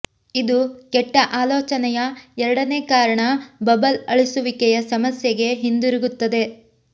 ಇದು ಕೆಟ್ಟ ಆಲೋಚನೆಯ ಎರಡನೇ ಕಾರಣ ಬಬಲ್ ಅಳಿಸುವಿಕೆಯ ಸಮಸ್ಯೆಗೆ ಹಿಂದಿರುಗುತ್ತದೆ